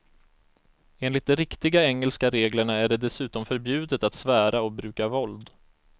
Enligt de riktiga engelska reglerna är det dessutom förbjudet att svära och bruka våld.